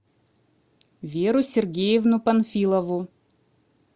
веру сергеевну панфилову